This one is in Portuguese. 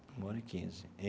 Uma hora e quinze e.